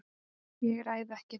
ÉG ræð EKKI þú.